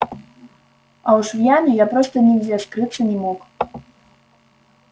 а уж в яме я просто нигде скрыться не мог